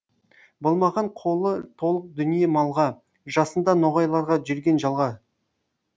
болмаған қолы толық дүние малға жасында ноғайларға жүрген жалға